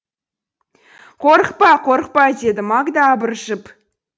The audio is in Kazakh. қорықпа қорықпа деді магда абыржып